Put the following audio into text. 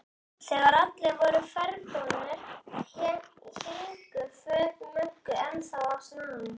Þegar allir voru ferðbúnir héngu föt Möggu ennþá á snaganum.